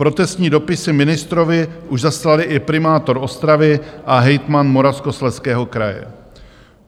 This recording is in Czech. Protestní dopisy ministrovi už zaslali i primátor Ostravy a hejtman Moravskoslezského kraje.